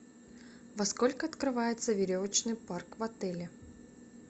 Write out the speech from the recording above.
во сколько открывается веревочный парк в отеле